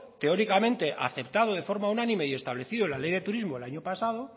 teóricamente aceptado de forma unánime y establecido en el ley de turismo el año pasado